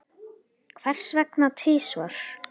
Hvers vegna tvisvar?